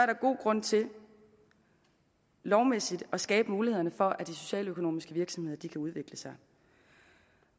der god grund til lovmæssigt at skabe mulighederne for at de socialøkonomiske virksomheder kan udvikle sig